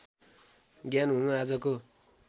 ज्ञान हुनु आजको